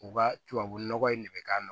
U ka tubabu nɔgɔ in de k'a la